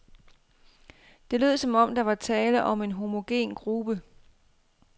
Det lød, som om der var tale om en homogen gruppe.